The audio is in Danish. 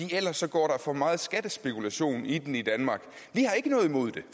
ellers går der for meget skattespekulation i den i danmark vi har ikke noget imod det